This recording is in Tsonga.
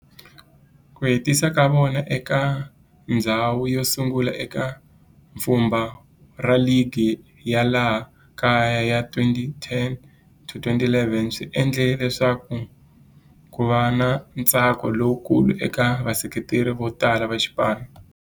Ku hetisa ka vona eka ndzhawu yosungula eka pfhumba ra ligi ya laha kaya ya 2010-11 swi endle leswaku kuva na ntsako lowukulu eka vaseketeri votala va xipano.